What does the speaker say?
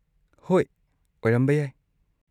ꯍꯣꯏ, ꯑꯣꯏꯔꯝꯕ ꯌꯥꯏ꯫